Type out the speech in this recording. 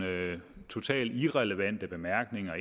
totalt irrelevante bemærkninger